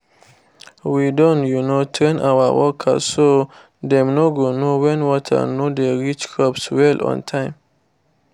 we don um train our workers so dem go know when water no dey reach crops well on time